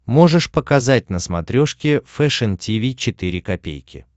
можешь показать на смотрешке фэшн ти ви четыре ка